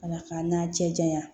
Ala k'an n'a cɛ janya